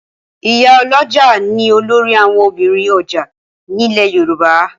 Ìyálọ́jà ni olórí àwọn obìnrin ọjà ní lẹ̀ Yorùbá.